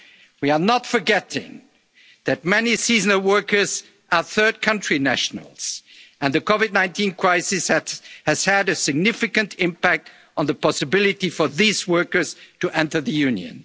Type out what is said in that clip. vulnerable workers. We are not forgetting that many seasonal workers are third country nationals and the COVID-19 crisis has had a significant impact on the possibility for these workers